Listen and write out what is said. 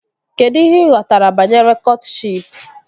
Kedụ ihe ị ghọtara banyere kọtshịp?